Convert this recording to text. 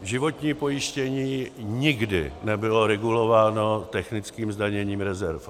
Životní pojištění nikdy nebylo regulováno technickým zdaněním rezerv.